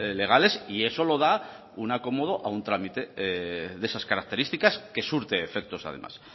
legales y eso lo da un acomodo a un trámite de esas características que surte efecto además